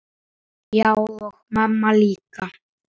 Já, og mamma líka.